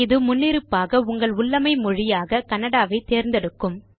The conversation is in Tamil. இது முன்னிருப்பாக உங்கள் உள்ளமை மொழியாக கன்னடா ஐ தேர்ந்தெடுக்கும்